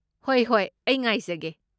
ꯍꯣꯏ ꯍꯣꯏ꯫ ꯑꯩ ꯉꯥꯏꯖꯒꯦ꯫